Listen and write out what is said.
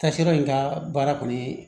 Kasira in ka baara kɔni ye